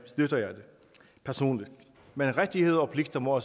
personligt men rettigheder og pligter må